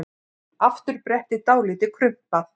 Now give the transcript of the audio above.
Afturbrettið dálítið krumpað.